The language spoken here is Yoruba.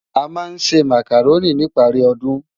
Amá nsé Mákároni nipári òdún